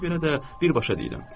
Ona görə də birbaşa deyirəm.